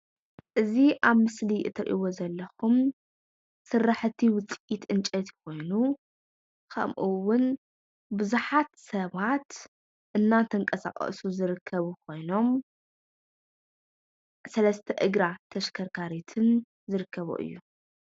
እዚ ኣብ ምስሊ እትሪእዎ ዘለኩም ስራሕቲ ችፑድ ውፅኢት ዕንፀይቲ ኮይኑ ከምኡ እውን ቡዙሓት ሰባት እንተንቀሳቀሱ ዝርከቡ ኮይኖም ሰለስተ እግራ ተሽከርካሪትን ዝርከቦ እዩ፡፡